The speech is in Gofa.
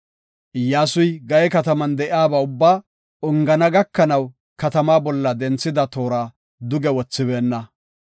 Iyyasuy Gaye kataman de7iyaba ubbaa ongana gakanaw katamaa bolla denthida toora duge wothibeenna.